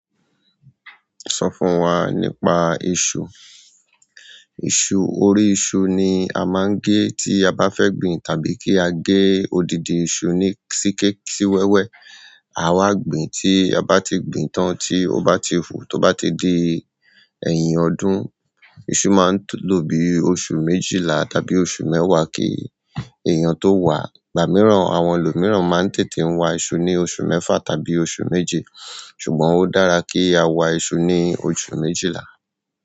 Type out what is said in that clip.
Sọ fún wa nípa iṣu. Iṣu, orí iṣu ni a máa ń gé tí a bá fẹ́ gbin tàbí kí a gé odidi iṣu ní si kí si wẹ́wẹ́. A wá gbìn tí a bá ti gbìn tán tí ó bá ti tí ó bá ti di ẹyin ọdún. Iṣu máa ń lò bí i oṣù méjìlá tàbí oṣù mẹ́wàá kí èèyàn tó wà. Ìgbà mìíràn àwọn ẹlòmíràn máa ń tètè ń wa iṣu ní oṣù mẹ́fà tàbí oṣù méje. Ṣùgbọ́n ó dára kí a wa iṣu ní oṣù méjìlá.